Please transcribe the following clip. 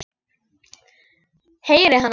Heyri hana.